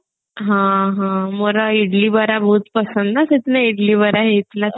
ହଁ ହଁ ମୋର ଇଡିଲି ବରା ବହୁତ ପସନ୍ଦ ନା ସେଦିନ ଇଡିଲି ବରା ହେଇଥିଲା